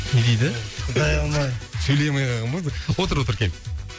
не дейді шыдай алмай сөйлей алмай қалған ба де отыр отыр кел